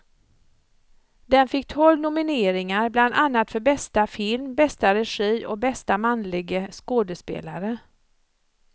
Den fick tolv nomineringar, bland annat för bästa film, bästa regi och bästa manlige skådespelare.